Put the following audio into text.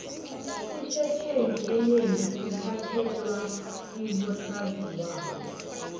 ifetjheni enengi ithathelwa kibosaziwako